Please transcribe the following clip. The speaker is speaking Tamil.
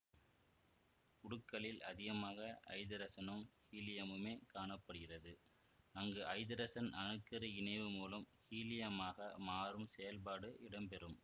உடுக்களில் அதிகமாக ஐதரசனும் ஹீலியமுமே காண படுகிறது அங்கு ஐதரசன் அணு கரு இணைவு மூலம் ஹீலியமாக மாறும் செயற்பாடு இடம்பெறும்